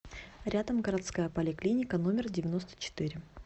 рядом городская поликлиника номер девяносто четыре